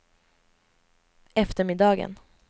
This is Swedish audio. eftermiddagen